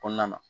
Kɔnɔna na